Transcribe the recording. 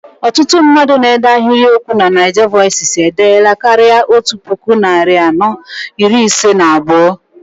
Ọtụtụ mmadụ na-ede ahiriokwu na NaijaVoices edeela karịa otú puku, narị anọ iri ise na abụọ.